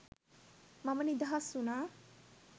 මම නිදහස් වුණා